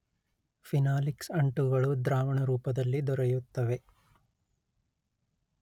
phenolics ಅಂಟುಗಳು ದ್ರಾವಣರೂಪದಲ್ಲಿ ದೊರೆಯುತ್ತವೆ